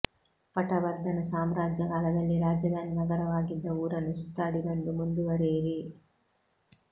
ಪಟವರ್ಧನ ಸಾಮ್ರಾಜ್ಯ ಕಾಲದಲ್ಲಿ ರಾಜಧಾನಿ ನಗರವಾಗಿದ್ದ ಊರನ್ನು ಸುತ್ತಾಡಿ ಬಂದು ಮುಂದುವರೆಯಿರಿ